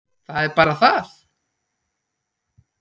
Það er bara það!